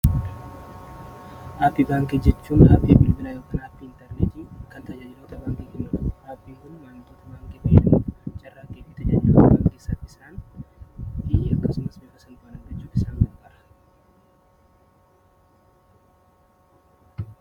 Aappii baankii jechuun tajaajila baankii kennu beekuuf kan nu gargaaru dha.